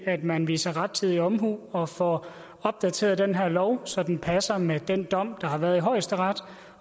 at man viser rettidig omhu og får opdateret den her lov så den passer med den dom der har været i højesteret